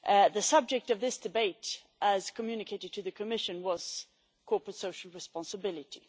The subject of this debate, as communicated to the Commission, was corporate social responsibility.